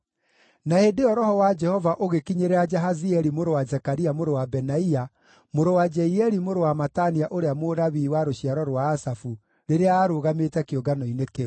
Na hĩndĩ ĩyo Roho wa Jehova ũgĩkinyĩrĩra Jahazieli mũrũ wa Zekaria mũrũ wa Benaia, mũrũ wa Jeieli mũrũ wa Matania ũrĩa Mũlawii wa rũciaro rwa Asafu rĩrĩa aarũgamĩte kĩũngano-inĩ kĩu.